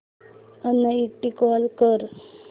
uninstall कर